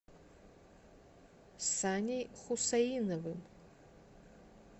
саней хусаиновым